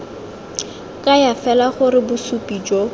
kaya fela gore bosupi jo